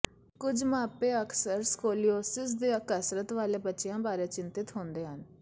ਕੁਝ ਮਾਪੇ ਅਕਸਰ ਸਕੋਲੀਓਸਿਸ ਦੇ ਕਸਰਤ ਵਾਲੇ ਬੱਚਿਆਂ ਬਾਰੇ ਚਿੰਤਤ ਹੁੰਦੇ ਹਨ